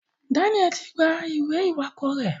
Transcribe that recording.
Daniel tí gbà ìwé iwakọ rẹ.